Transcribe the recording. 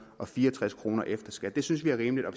og fire og tres kroner efter skat det synes vi er rimeligt og